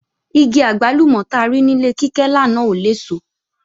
Igi àgbálùmọ̀ ta rí ní ilé Kíkẹ́ lánàá ò léso